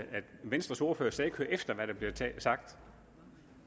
venstres ordfører slet ikke hører efter hvad der bliver sagt